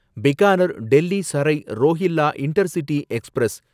Bikaner Delhi Sarai Rohilla intercity express